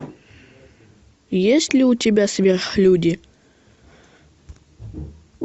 есть ли у тебя сверхлюди